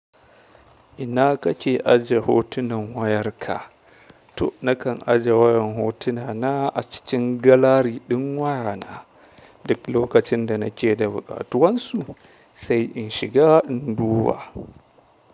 Ina kake aje hotunan wayarka? To nakan aje wayan hotuna na a cikin galari ɗin wayana duk lokacin da nake da buƙatuwan su sai in shiga in duba.